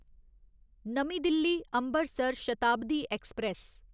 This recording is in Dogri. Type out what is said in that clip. नमीं दिल्ली अम्बरसर शताब्दी ऐक्सप्रैस